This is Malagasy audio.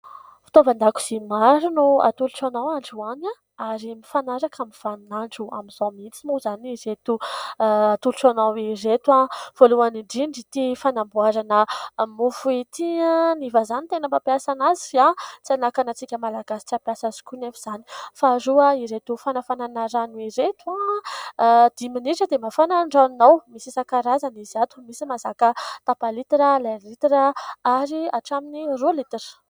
Fitaovan-dakozia maro no atolotra anao androhany, ary mifanaraka amin'ny vanin'andro amin'izao mihitsy moa izany ireto atolotra anao ireto . Voalohany indrindra ity fanamboharana mofo ity, ny vazaha no tena mampiasa azy fa tsy hanakana antsika malagasy hampiasa azy koa anefa izany. Faharoa, ireto fanafanana rano ireto, dimy minitra dia mafana ny ranonao. Misy isan-karazany izy ato, misy mahazaka tapa-litatra, iray litatra ary hatramin'ny roa litatra.